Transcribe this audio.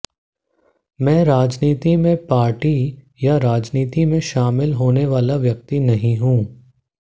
मैं राजनीति में पार्टी या राजनीति में शामिल होने वाला व्यक्ति नहीं हूं